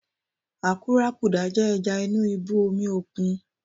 Àkúrákudà jẹ́ ẹja inú ibú omi òkun.